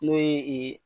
N'o ye